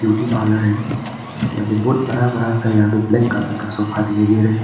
Beauty parlour है यहां पे बहोत बड़ा बड़ा सा यहां पे ब्लैक कलर का सोफा दिखाइ दे रहा है।